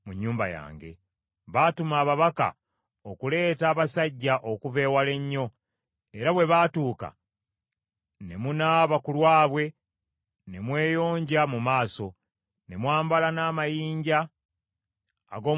“Baatuma ababaka okuleeta abasajja okuva ewala ennyo, era bwe baatuuka, ne munaaba ku lwabwe ne mweyonja mu maaso, ne mwambala n’amayinja ag’omuwendo omungi.